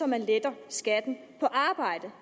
man letter skatten på arbejde